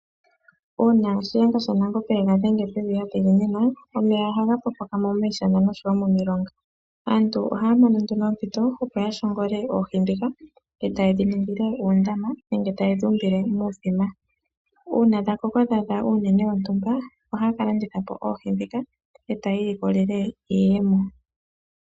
Uuna shiyenga shaNangombe yaga dhenge pevi adhiginina omeya ohaga pokokamo miishana oshowo momilonga aantu ohaya mono nduno oompito opoya shongole oohi dhika eta yedhiningile uundama nenge taye dhumbile muuthima uuna dhakoko dhadha uunene wontumba ohaa kalandithapo oohi dhino eta yilikolele iiyemo.